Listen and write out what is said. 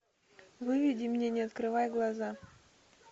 выведи мне не открывай глаза